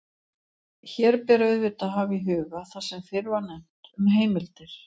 Hér ber auðvitað að hafa í huga það sem fyrr var nefnt um heimildir.